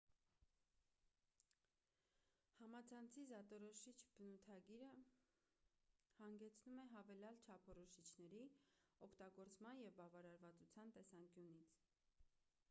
համացանցի զատորոշից բնութագիրը հանգեցնում է հավելյալ չափորոշիչների օգտագործման և բավարարվածության տեսանկյունից